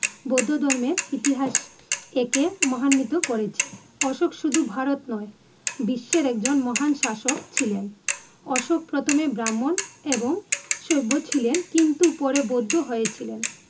বৌধো ধর্মের ইতিহাস থেকে মহান্বিত করেছে । অশোক শুধু ভারত নয়, বিশ্বের এক জন মহান শাসক ছিলেন, অশোক প্রথমে ব্রাহ্মন এবং শৈব ছিলেন কিন্তু পরে বৌধ হয়েছিলেন ।